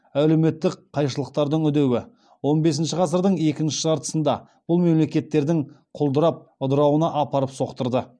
әлеуметтік қайшылықтардың үдеуі он бесінші ғасырдың екінші жартысында бұл мемлекеттердің құлдырап ыдырауына апарып соқтырды